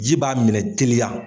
Ji b'a minɛ teliya.